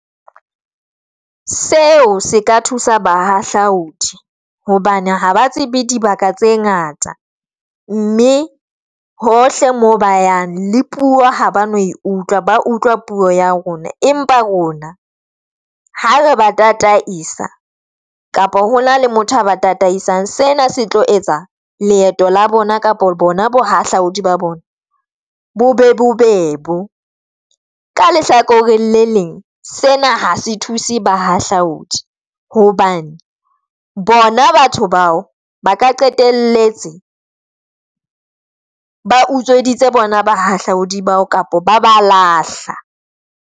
Seo se ka thusa bahahlaudi hobane ha ba tsebe dibaka tse ngata, mme hohle mo ba yang le puo ha ba no e utlwa ba utlwa puo ya rona, empa rona ha re ba tataisa kapa ho na le motho a ba tataisang. Sena se tlo etsa leeto la bona kapa bona bo hahlaudi ba bona bo be bobebe. Ka lehlakoreng le leng sena ha se thuse bahahlaudi hobane bona batho bao ba ka qetelletse ba utsweditse bona bahahlaudi bao kapa ba ba lahla.